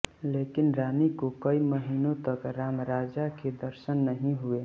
लेकिन रानी को कई महीनों तक रामराजा के दर्शन नहीं हुए